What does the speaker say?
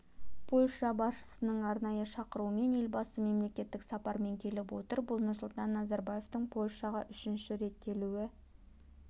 польша басшысының арнайы шақыруымен елбасы мемлекеттік сапармен келіп отыр бұл нұрсұлтан назарбаевтың польшаға үшінші рет келуі